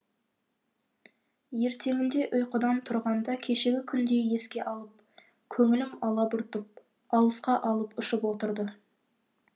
ертеңінде ұйқыдан тұрғанда кешегі күнді еске алып көңілім алабұртып алысқа алып ұшып отырды